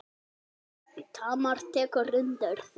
Tamar tekur undir þetta.